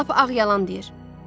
Lap ağ yalan deyir.